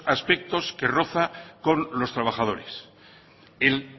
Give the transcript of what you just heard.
aspectos que rozan con los trabajadores el